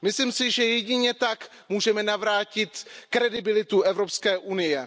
Myslím si, že jedině tak můžeme navrátit kredibilitu Evropské unie.